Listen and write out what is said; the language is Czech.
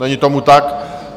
Není tomu tak.